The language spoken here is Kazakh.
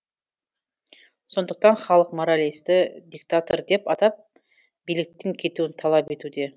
сондықтан халық моралесті диктатор деп атап биліктен кетуін талап етуде